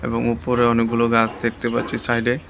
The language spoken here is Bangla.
এবং উপরে অনেকগুলো গাছ দেখতে পাচ্ছি সাইডে।